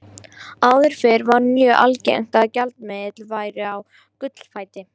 Áður fyrr var mjög algengt að gjaldmiðlar væru á gullfæti.